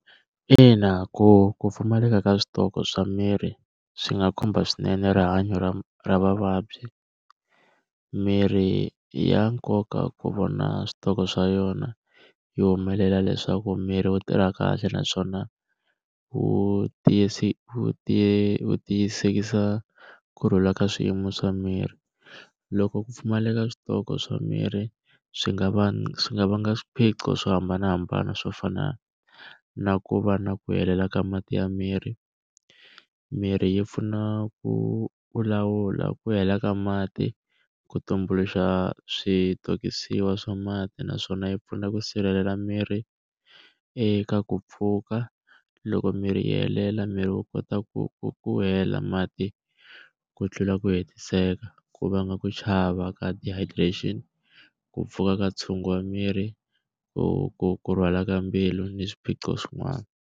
Ina ku ku pfumaleka ka switoko swa mirhi swi nga khumba swinene rihanyo ra ra vavabyi, mirhi i ya nkoka ku vona switoko swa yona yi humelela leswaku miri wu tirha kahle naswona wu wu tiyisisa kurhula ka swiyimo swa miri. Loko ku pfumaleka ka switoko swa mirhi, swi nga swi nga vanga swiphiqo swo hambanahambana swo fana na ku va na ku helela ka mati ya miri. Mirhi yi pfuna ku u lawula ku hela ka mati, ku tumbuluxa switokisiwa wa swa mati naswona yi pfuna ku sirhelela miri eka ku pfuka. Loko mirhi yi helela miri wu kota ku ku ku hela mati ku tlula ku hetiseka, ku vanga ku chava ka dehydration, ku pfuka ka wa miri, ku ku ku rhwala ka mbilu ni swiphiqo swin'wana.